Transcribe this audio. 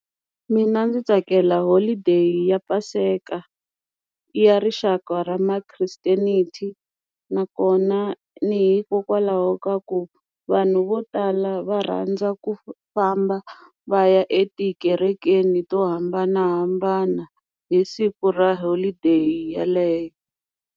Mina ndzi tsakela holiday ya paseka ya rixaka ra ma Christianity nakona ni hikokwalaho ka ku vanhu vo tala va rhandza ku famba va ya etikerekeni to hambanahambana hi siku ra holideyi yeleyo.